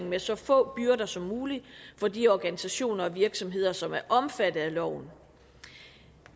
med så få byrder som muligt for de organisationer og virksomheder som er omfattet af loven